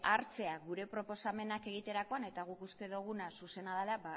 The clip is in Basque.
hartzea gure proposamenak egiterakoan eta guk uste duguna zuzena dela